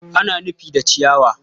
ana rufi da ciyawa.